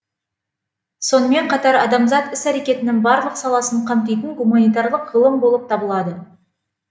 сонымен қатар адамзат іс әрекетінің барлық саласын қамтитын гуманитарлық ғылым болып табылады